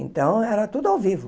Então, era tudo ao vivo.